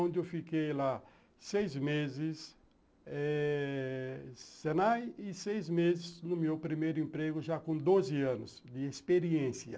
onde eu fiquei lá seis meses eh Senai, e seis meses no meu primeiro emprego, já com doze anos de experiência.